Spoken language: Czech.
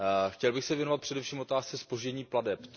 Chtěl bych se věnovat především otázce zpoždění plateb.